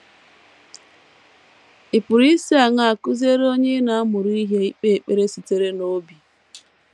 Ị̀ pụrụ isi aṅaa kụziere onye ị na - amụrụ ihe ikpe ekpere sitere n’obi?